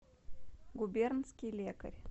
губернский лекарь